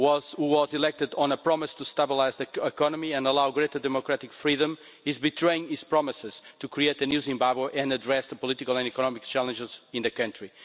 who was elected on a promise to stabilise the economy and allow greater democratic freedom, is betraying his promises to create a new Zimbabwe and address the political and economic challenges in the country.